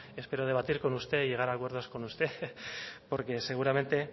espero debatir con usted y llegar a acuerdos con usted porque seguramente